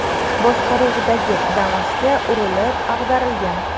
boshqaruvidagi Damas’ga urilib, ag‘darilgan.